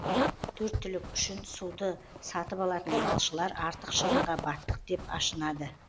төрт түлік үшін суды сатып алатын малшылар артық шығынға баттық деп ашынады